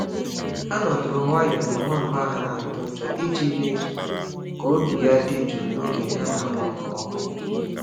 Ha nọdụrụ nwayọọ na nwamba ha na-atụ ụjọ iji mee ka obi ya dị jụụ n’oge a na-agbapụ ọkụ.